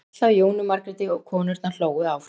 gall þá í Jónu Margréti og konurnar hlógu áfram.